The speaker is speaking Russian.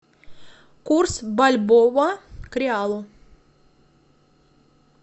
курс бальбоа к реалу